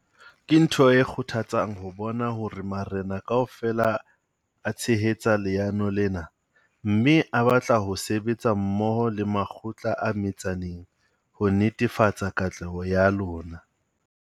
Ke ntho e kgothatsang ho bona hore marena kaofela a tshehetsa leano lena mme a batla ho sebetsa mmoho le makgotla a metsaneng ho netefatsa katleho ya lona.